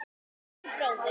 Elsku, bróðir.